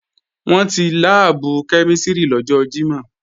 Wọ́n ti láàbù kẹ́mísìrì lọ́jọ́ Jímọ̀